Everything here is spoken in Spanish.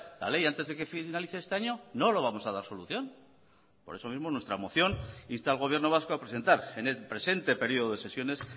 la ley antes de que finalice este año no lo vamos a dar solución por eso mismo nuestra moción insta al gobierno vasco a presentar en el presente periodo de sesiones